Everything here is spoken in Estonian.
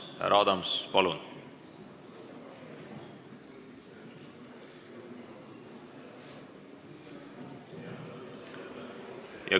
Härra Adams, palun!